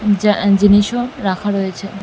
যা আ জিনিস ও রাখা রয়েছে।